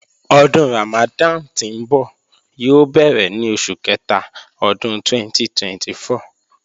Ọdún Ramadan tí ńbọ̀ yóò bẹ̀rẹ̀ ní oṣù kẹta ọdún 2024